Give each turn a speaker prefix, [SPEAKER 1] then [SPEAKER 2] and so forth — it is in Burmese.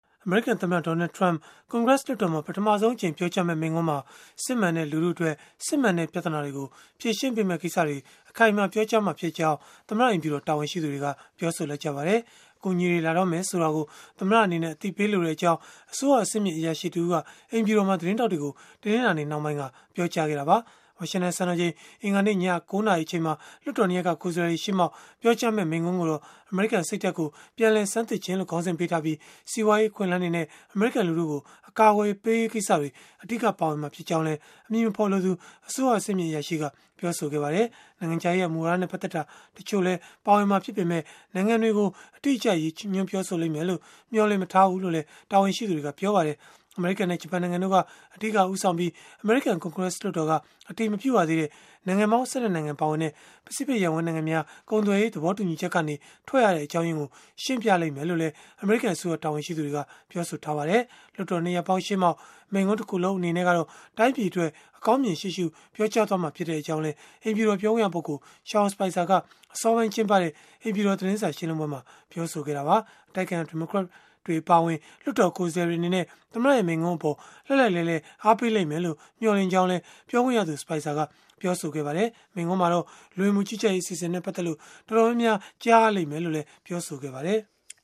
[SPEAKER 1] အမေရိကန် သမ္မတ Donald Trump ကွန်ဂရက်လွှတ်တော်မှာ ပထမဆုံး အကြိမ် ပြောကြား မယ့် မိန့်ခွန်းမှာ၊ စစ်မှန်တဲ့ လူထုအတွက် စစ်မှန်တဲ့ ပြဿနာတွေ ကို ဖြေရှင်းပေးမယ့် ကိစ္စတွေကို အခိုင်အမာ ပြောကြားသွားမှာဖြစ်ကြောင်း သမ္မတ အိမ်ဖြူတော် တာဝန်ရှိသူတွေက ပြောဆိုလိုက်ပါတယ်။ အကူအညီတွေ လာတော့မယ် ဆိုတာကို သမ္မတအနေနဲ့ အသိပေးလိုကြောင်း အစိုးရအဆင့်မြင့် အရာရှိတဦးက အိမ်ဖြူတော်မှာ သတင်းထောက်တွေကို တနင်္လာနေ့နှောင်းပိုင်းက ပြောကြားခဲ့တာပါ။ ဝါရှင်တန်စံတော်ချိန် အင်္ဂါနေ့ည ၉ နာရီ အချိန်မှာ လွှတ်တော် ၂ ရပ်က ကိုယ်စားလှယ်တွေ ရှေ့မှောက် ပြောကြားမယ့် မိန့်ခွန်းကိုတော့ အမေရိကန်စိတ်ဓာတ်ကို ပြန်လည်ဆန်းသစ်ခြင်း လို့ ခေါင်းစဉ်ပေးထားပြီး၊ စီးပွားရေး အခွင့်အလန်းတွေနဲ့ အမေရိကန် လူထုကို အကာအကွယ်ပေးရေး ကိစ္စတွေ အဓိက ပါဝင်မှာ ဖြစ်ကြောင်းလည်း အမည်မဖော်လိုသူ အစိုးရအဆင့်မြင့် အရာရှိက ပြောဆိုခဲ့ပါတယ်။ နိုင်ငံခြားရေးရာ မူဝါဒနဲ့ ပတ်သက်တာတချို့ ပါဝင်မှာ ဖြစ်ပေမဲ့လည်း နိုင်ငံတွေကို အတိအကျ ရည်ညွှန်းပြောဆိုမှာတော့ မဟုတ်ပါဘူး။ အမေရိကန်နဲ့ ဂျပန်နိုင်ငံတို့က အဓိကဦးဆောင်ခဲ့ပြီး၊ အမေရိကန် ကွန်ဂရက်လွှတ်တော်က အတည်မပြုရသေးတဲ့ နိုင်ငံပေါင်း ၁၂ နိုင်ငံပါဝင်တဲ့ ပစိဖိတ်ရပ်ဝန်း နိုင်ငံများ ကုန်သွယ်ရေး သဘောတူညီချက်ကနေ ထွက်ရတဲ့ အကြောင်းရင်းကို ရှင်းပြလိမ့်မယ်လို့လည်း အမေရိကန်အစိုးရ တာဝန်ရှိသူတွေက ပြောပါတယ်။ လွှတ်တော် ၂ ရပ်ပေါင်းရှေ့မှောက် မိန့်ခွန်းတခုလုံး အနေနဲ့ကတော့ တိုင်းပြည်အတွက် အကောင်းမြင်ရှေ့ရှု ပြောကြားသွားဖို့ ရှိတဲ့အကြောင်း အိမ်ဖြူတော် ပြောခွင့်ရပုဂ္ဂိုလ် Sean Spicer က အစောပိုင်းကျင်းပတဲ့ အိမ်ဖြူတော် သတင်းစာရှင်းလင်းပွဲမှာ ပြောဆိုခဲ့တာပါ။ အတိုက်အခံ ဒီမိုကရက်တွေ အပါအဝင် လွှတ်တော်ကိုယ်စားလှယ်တွေ အနေနဲ့ သမ္မတရဲ့ မိန့်ခွန်းကို လှိုက်လှိုက်လှဲလှဲ အားပေးကြလိမ့်မယ် လို့ မျှော်လင့်ကြောင်း လည်း ပြောခွင့်ရသူ Spicer က ပြောဆိုခဲ့ပါတယ်။ မိန့်ခွန်းမှာ လူဝင်မှုကြီးကြပ်ရေး အစီအစဉ်နဲ့ ပတ်သက်လို့ တော်တော်များများ ကြားရလိမ့်မယ်လို့လည်း ပြောဆိုခဲ့ပါတယ်။